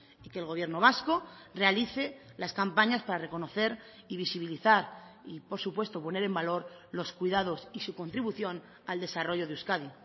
y que el gobierno vasco realice las campañas para reconocer y visibilizar y por supuesto poner en valor los cuidados y su contribución al desarrollo de euskadi